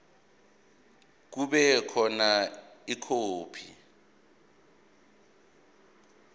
kube khona ikhophi